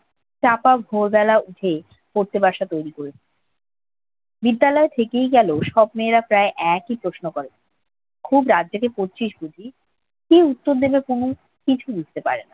চাপা ভোরবেলা উঠে পড়তে বাসা তৈরি করে দিত। বিদ্যালয়ে থেকেই গেল। সব মেয়েরা প্রায় একই প্রশ্ন করে। খুব রাত জেগে পড়ছিস বুঝি? কি উত্তর দিবে তনু কিছু বুঝতে পারে না।